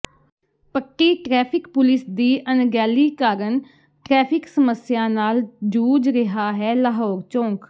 ਪੱਟੀ traffic police ਦੀ ਅਣਗਹਿਲੀ ਕਾਰਨ ਟ੍ਰੈਫਿਕ ਸਮੱਸਿਆ ਨਾਲ ਜੂਝ ਰਿਹਾ ਹੈ ਲਾਹੌਰ ਚੌਂਕ